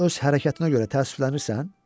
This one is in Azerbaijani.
Sən öz hərəkətinə görə təəssüflənirsən?